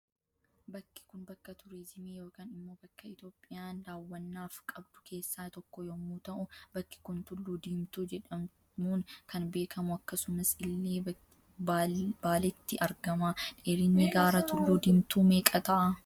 Bakki Kun bakka turizimii yookan immoo bakka iitoophiyaan daawwannaaf qabdu keessa tokko yommuu ta'u bakki Kun tulluu diimtuu jedhamuun kan beekamu akkasumas illee baaletti argama. Dheerinni gaara tulluu diimtuu meeqa ta'a?